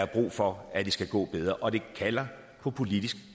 brug for at det skal gå bedre og det kalder på politisk